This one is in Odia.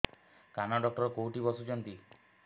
କାନ ଡକ୍ଟର କୋଉଠି ବସୁଛନ୍ତି